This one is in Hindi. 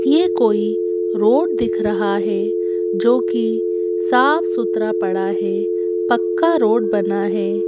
ये कोई रोड दिख रहा है जो कि साफ सुथरा पड़ा है पक्का रोड बना है।